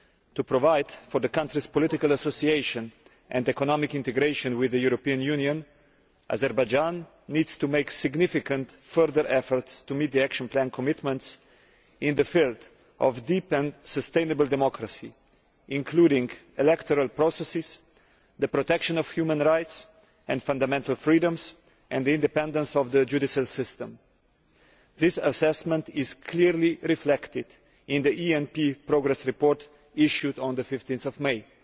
To provide for the country's political association and economic integration with the European Union, Azerbaijan needs to make significant further efforts to meet the action plan commitments in the field of deep and sustainable democracy, including electoral processes, the protection of human rights and fundamental freedoms, and the independence of the judicial system. This assessment is clearly reflected in the ENP progress report issued on 15 May.